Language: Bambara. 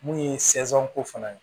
Mun ye ko fana ye